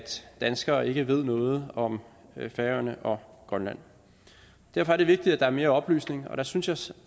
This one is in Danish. danskere ikke ved noget om færøerne og grønland derfor er det vigtigt at der er mere oplysning og der synes